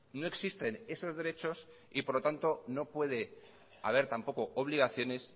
no existen esos derechos y por lo tanto no puede haber tampoco obligaciones